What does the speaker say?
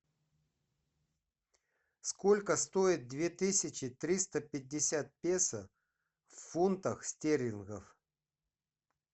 сколько стоит две тысячи триста пятьдесят песо в фунтах стерлингов